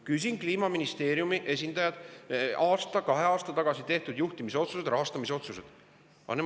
Küsisin Kliimaministeeriumi esindajatelt aasta või kaks aastat tagasi tehtud juhtimisotsuste ja rahastamisotsuste kohta.